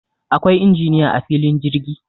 Akwai injiniya a filin jirgi